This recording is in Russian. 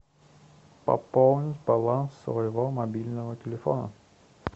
пополнить баланс своего мобильного телефона